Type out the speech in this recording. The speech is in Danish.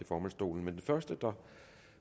formandsstolen men den første der